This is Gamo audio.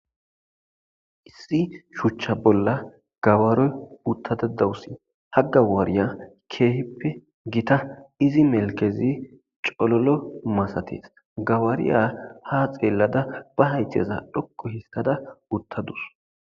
Issi shuchch bolla gawariya uttada dawusi , ha gawariya keehippe gita izi melkez colol masates, gawariya ha xeelada be haythe dhoqu histada utadus